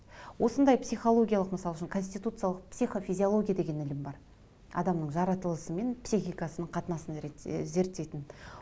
осындай психологиялық мысал үшін конституциялық психофизиология деген ілім бар адамның жаратылысы мен психикасының қатынасын зерттейтін